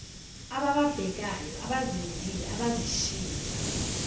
abababhekayo abazenzile abazishilo